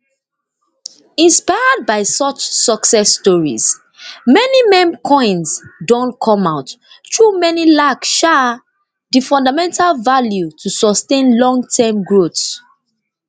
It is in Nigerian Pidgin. inspired by such success stories many meme coins don come out though many lack um di fundamental value to sustain longterm growth